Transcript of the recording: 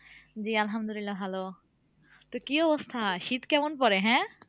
জি আহামদুল্লিয়াহ ভালো, তো কি অবস্থা শীত কেমন পরে হ্যাঁ?